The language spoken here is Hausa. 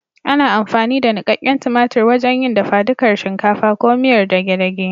Ana amfani da nuƙaƙƙen tumatur wajen yin dafadukar shinkafa ko miyar dage dage.